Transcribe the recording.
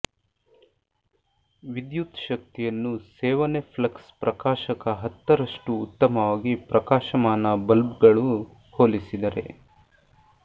ವಿದ್ಯುತ್ ಶಕ್ತಿಯನ್ನು ಸೇವನೆ ಫ್ಲಕ್ಸ್ ಪ್ರಕಾಶಕ ಹತ್ತರಷ್ಟು ಉತ್ತಮವಾಗಿ ಪ್ರಕಾಶಮಾನ ಬಲ್ಬ್ಗಳು ಹೋಲಿಸಿದರೆ